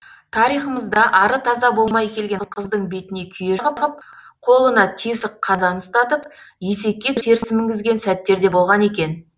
тарихымызда ары таза болмай келген қыздың бетіне күйе жағып қолына тесік қазан ұстатып есекке теріс мінгізген сәттерде болған екен